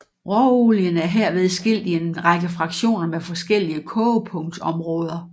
Råolien er herved skilt i en række fraktioner med forskellige kogepunktsområder